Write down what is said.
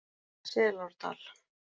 Selárdal